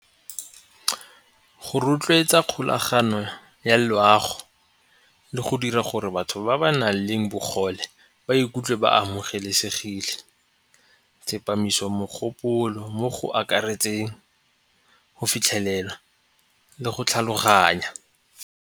Go rotloetsa kgolagano ya loago le go dira gore batho ba ba na leng bogole ba ikutlwe ba amogelesegile, tsepamiso mogopolo mo go akaretseng go fitlhelela le go tlhaloganya.